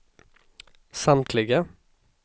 samtliga